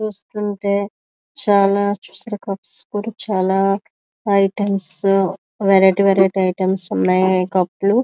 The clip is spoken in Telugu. చూస్తూ ఉంటె చాల చాల ఐటమ్స్ వెరైటీ వెరైటీ ఐటమ్స్ కప్పులు --